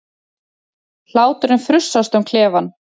Hláturinn frussast um klefann.